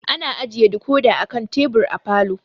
Ana ajiye dikodi a kan tebur a falo.